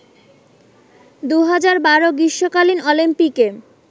২০১২ গ্রীষ্মকালীন অলিম্পিকে